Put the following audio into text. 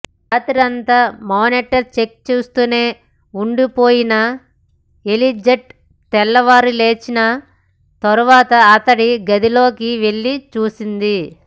రాత్రంతా monitor check చేస్తూనే ఉండిపోయిన ఎలిజబెత్ తెల్లవారి లేచిన తర్వాత అతడి గదిలోకి వెళ్లి చూసింది